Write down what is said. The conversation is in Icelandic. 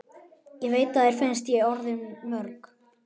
Ég veit að þér finnst ég orðmörg.